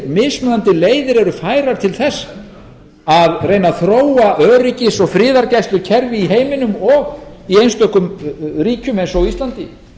mismunandi leiðir eru færar til að reyna að þróa öryggis og friðargæslukerfi í heiminum í einstökum ríkjum eins og á íslandi